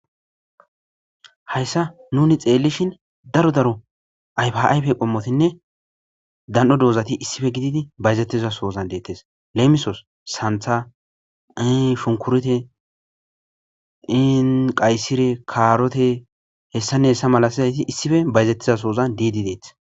Hayssa nuni xeelishin daro daro ayfayfe qommotinne dan7o doozati issife gididi bayzettizasozan deettes leemisoos santha ii funkurte inqayssire kaarote hessannehessa malasizayti issife bayzettizasozan diidi deet